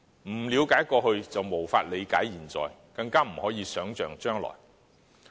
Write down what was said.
不了解過去便無法理解現在，更不可能想象將來。